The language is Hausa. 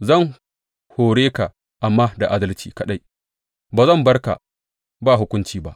Zan hore ka amma da adalci kaɗai; ba zan bar ka ba hukunci ba.